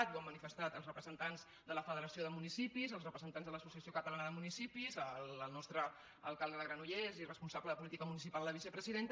i ho han manifestat els representants de la federació de municipis els representants de l’associació catalana de municipis el nostre alcalde de granollers i responsable de política municipal a la vicepresidenta